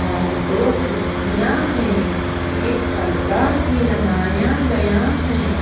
और दो कुर्सियां हैं एक पर्दा भी लगाया गया है।